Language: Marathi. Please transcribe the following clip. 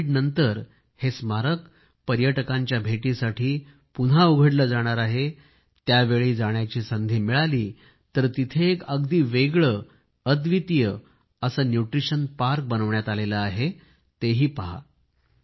आता कोविडनंतर हे स्मारक पर्यटकांच्या भेटीसाठी पुन्हा उघडले जाणार आहे त्यावेळी जाण्याची संधी मिळाली तर तिथं एक अगदी वेगळे अव्दितीय न्यूट्रिशन पार्क बनविण्यात आले आहे ते पहा